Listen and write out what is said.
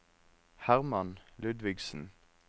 Hermann Ludvigsen